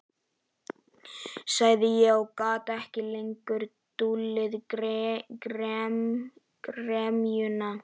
sagði ég og gat ekki lengur dulið gremjuna.